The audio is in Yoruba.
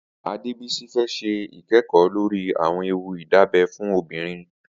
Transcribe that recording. Adebisi fè ṣé ikẹẹkọ lóri awọn éwú idábẹ̀ fún óbìrín